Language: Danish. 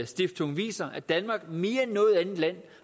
stiftung viser at danmark mere end noget andet land